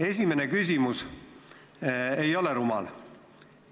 Esimene küsimus ei ole rumal.